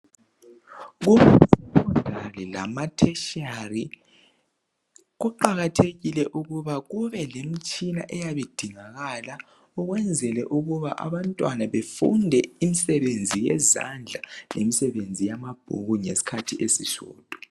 KuSekhondari lama"Tertiary" kuqakathekile ukuba kube lemitshina eyabe idingakala ukwenzela ukuba abantwana befunde imisebenzi yezandla lemisebenzi yamabhuku ngesikhathi esisodwa.